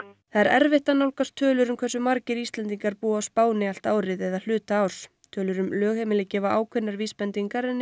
það er erfitt að nálgast tölur um hversu margir Íslendingar búa á Spáni allt árið eða hluta árs tölur um lögheimili gefa ákveðnar vísbendingar en eru